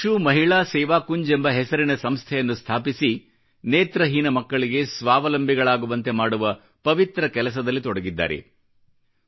ಚಕ್ಷು ಮಹಿಳಾ ಸೇವಾ ಕುಂಜ್ ಎಂಬ ಹೆಸರಿನ ಸಂಸ್ಥೆಯನ್ನು ಸ್ಥಾಪಿಸಿ ನೇತ್ರಹೀನ ಅಂಧಮಕ್ಕಳಿಗೆ ಸ್ವಾವಲಂಬಿಗಳಾಗುವಂತೆ ಮಾಡುವ ಪವಿತ್ರ ಕೆಲಸದಲ್ಲಿ ತೊಡಗಿದ್ದಾರೆ